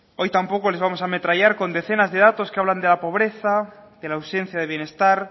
euros hoy tampoco les vamos a ametrallar con decenas de datos que hablan de la pobreza de la ausencia de bienestar